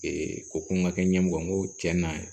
ko ko n ka kɛ ɲɛmɔgɔ ye n ko cɛn na